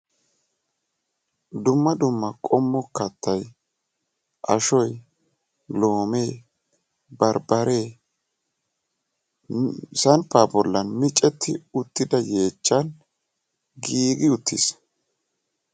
dumma dumma qommo kattay ashoy loomee barbaree sampaa bolan micetti giigida yeechan giigi uttiis.